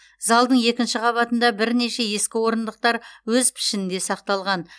залдың екінші қабатында бірнеше ескі орындықтар өз пішінінде сақталған